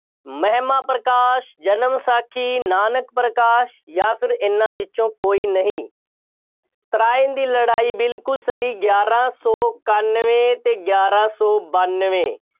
ਮਹਿਮਾਂ ਪ੍ਰਕਾਸ਼, ਜਨਮ ਸਾਖੀ, ਨਾਨਕ ਪ੍ਰਕਾਸ਼ ਜਾਂ ਫੇਰ ਇਹਨਾ ਵਿੱਚੋਂ ਕੋਈ ਨਹੀਂ। ਤਰਾਇਨ ਦੀ ਲੜਾਈ ਬਿਲਕੁੱਲ ਸਹੀ, ਗਿਆਰਾਂ ਸੌ ਇਕਾਨਵੇਂ ਅਤੇ ਗਿਆਰਾ ਸੌ ਬਾਨਵੇਂ।